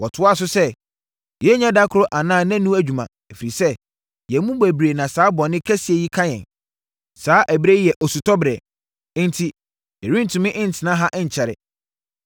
Wɔtoaa so sɛ: Yei nyɛ da koro anaa nnanu adwuma, ɛfiri sɛ, yɛn mu bebree na saa bɔne kɛseɛ yi ka yɛn. Saa ɛberɛ yi yɛ osutɔberɛ, enti yɛrentumi ntena ha nkyɛre.